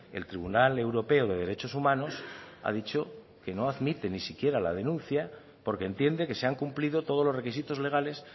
el tribunal europeo de derechos humanos ha dicho que no admite ni siquiera la denuncia porque entiende que se han cumplido todos los requisitos legales